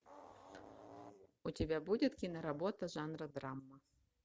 у тебя будет киноработа жанра драма